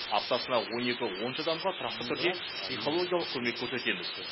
аптасына он екі он үш адамға тұрақты түрде психологиялық көмек көрсетеміз